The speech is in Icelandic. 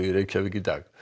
í dag